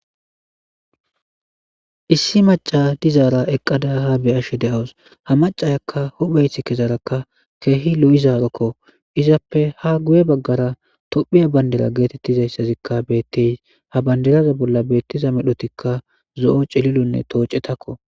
issi maca dizaara eqqada ha beyashe deawus ha macayakka hopheyt kezarakka keehi lo7izarakko izappe ha guye baggara tophiya bandira geetettizayssazikka bettey ha bandiraza bolla beettiza medhotikka zo7o celilonne toocetakko